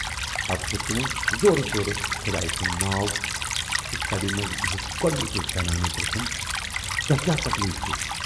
پَتہٕ ہیوت تِمو زورٕ زورٕ خۅدایہِ سُند ناو تہٕ سبہِ مَنز بِہِتھ گۅڈنٕچہِ زَنانہٕ پرژھُن توہہِ کیاہ تکلیٖف چھُ؟